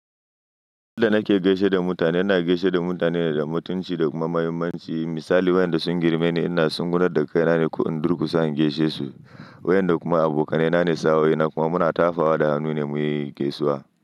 Yanda nake gaishe da mutane, ina gaishe da mutane da mutunci da kuma muhimmanci. Misali waƴanda sun girme ni ina tsugunnar da kaina ne ko in durkusa in gaishe su. Waɗanda kuma abokanai na ne, sa'o'i na kuma muna tafawa da hannu ne muyi gaisuwa.